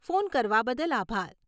Phone કરવા બદલ આભાર.